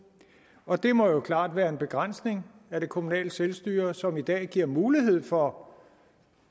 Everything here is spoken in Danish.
og det må jo klart være en begrænsning af det kommunale selvstyre som i dag giver mulighed for